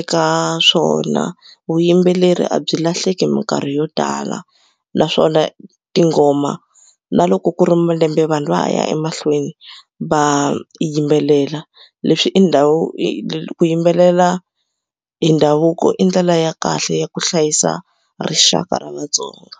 eka swona vuyimbeleri a byi lahleki mikarhi yo tala naswona tinghoma na loko ku ri malembe vanhu va ha ya emahlweni va yimbelela leswi i ndhawu ku yimbelela hi ndhavuko i ndlela ya kahle ya ku hlayisa rixaka ra Vatsonga.